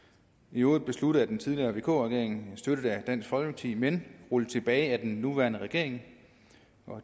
i øvrigt besluttet af den tidligere vk regering og støttet af dansk folkeparti men rullet tilbage af den nuværende regering